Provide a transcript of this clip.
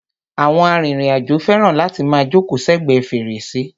Àwọn arìnrìn-àjò fẹràn láti máa jókòó sẹ́gbẹ̀ẹ́ fèrèsé.